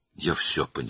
Mən hər şeyi başa düşdüm.